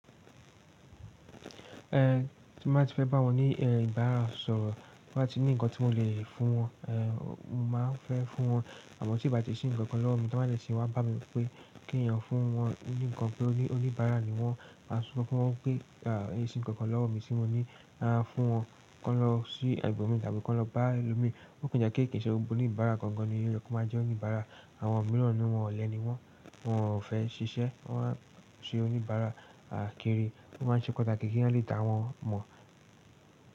Eh tí bá ti fẹ́ bá wọn ní eh ìbáraẹnisọ̀rọ̀, bá ti ní ǹkan tí mo lè fún wọn, eh mo máa fẹ́ fún wọn. Àmọ́ tí bá ti sí ǹkan kan lọ́wọ́ mi tí wọ́n bá lè ṣe wá bá mi pé kí n yan fún wọn ní ǹkan pé oní ìbára ni wọ́n, a sọ fún wọn pé à í si ǹkan kan lọ́wọ́ mi tí mo ní á fún wọn. Kọ́ lọ sí ẹgbẹ́ mi tàbí kọ́ lọ bá ẹlòmíì. Ó kàn jẹ́ kí kìṣẹ́ gbogbo oni ìbára kankan ni yé, kí ó má jẹ́ oní ìbára. Àwọn mìíràn nínú wọn ọ̀lẹ ni wọ́n, wọn ò fẹ́ ṣiṣẹ́, wọ́n má a ń se oní ìbára àkeré, wọ́n má ń ṣe panṣa géégé kí wọ́n lè dá wọn mọ̀